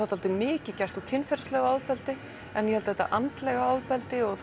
dálítið mikið gert úr kynferðislegu ofbeldi en ég held að þetta andlega ofbeldi og